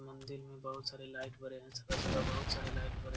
मंदिर में बहुत सारे लाइट बरे हैं सुबह-सुबह बहुत सारे लाइट बरे --